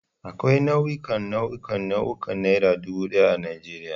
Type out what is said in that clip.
Akwai nau'ikan nau'ikan nau'ikan Naira dubu daya a Najeriya.